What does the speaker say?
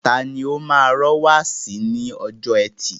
Tani o máa ra wáàsí ní ọjọ́ ẹtì.